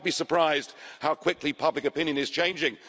You might be surprised how quickly public opinion is changing.